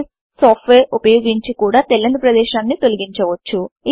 bliss software ఉపయోగించి కూడా తెల్లని ప్రదేశాన్ని తొలగించవచ్చు